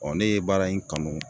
ne ye baara in kanu